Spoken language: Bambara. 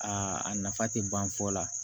Aa a nafa tɛ ban fɔ la